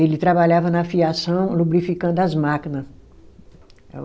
Ele trabalhava na fiação, lubrificando as máquina.